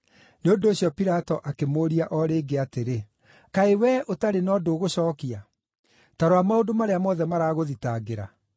Nĩ ũndũ ũcio Pilato akĩmũũria o rĩngĩ atĩrĩ, “Kaĩ wee ũtarĩ na ũndũ ũgũcookia? Ta rora maũndũ marĩa mothe maragũthitangĩra.”